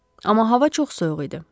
Amma hava çox soyuq idi.